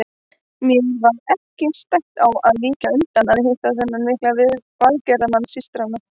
Mér var ekki stætt á að víkjast undan að hitta þennan mikla velgerðamann systranna.